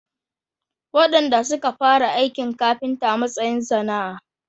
Wadanda suka fara aikin kafinta a matsayin sana’a.